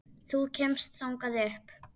Þú kemst þangað upp.